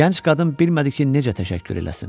Gənc qadın bilmədi ki, necə təşəkkür eləsin.